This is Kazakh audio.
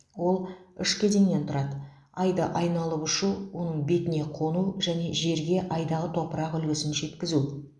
ол үш кезеңнен тұрады айды айналып ұшу оның бетіне қону және жерге айдағы топырақ үлгісін жеткізу